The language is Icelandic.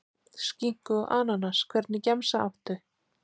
Skinku og ananas Hvernig gemsa áttu?